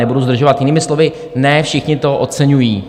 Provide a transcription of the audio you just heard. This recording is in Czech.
Nebudu zdržovat, jinými slovy, ne všichni to oceňují.